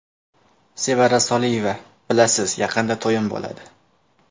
Sevara Soliyeva: Bilasiz, yaqinda to‘yim bo‘ladi.